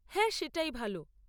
হ্যাঁ, সেটাই ভাল।